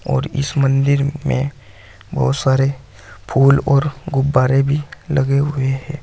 और इस मंदिर में बहोत सारे फूल और गुब्बारे भी लगे हुए हैं।